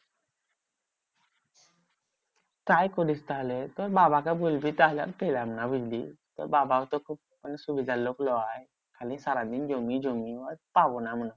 তাই করিস তাহলে তোর বাবাকে বলবি তাহলে আর পেলাম না বুঝলি? তোর বাবাও তো খুব সুবিধার লোক লয়। খালি সারাদিন জমি জমি আর পাবো না হয়।